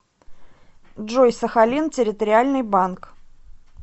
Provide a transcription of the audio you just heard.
джой сахалин территориальный банк